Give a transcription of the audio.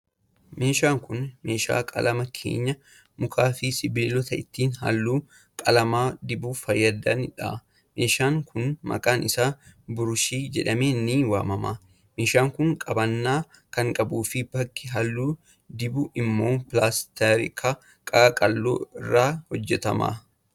Meeshaan kun, meeshaa qalama keenyaa ,muka fi sibiilota ittiin haalluu qalamaa dibuuf fayyadanii dha. Meeshaan kun maqaan isaa biruushii jedhamee ni waamama. Meeshaan kun qabannaa kan qabuu fi bakki haalluu dibu immoo pilaastika qaqalloo irraa hojjatama.